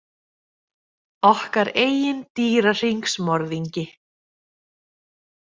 Okkar eigin dýrahringsmorðingi.